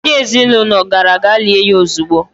Ndị ezinaụlọ gara gaa lie ya ezigbo.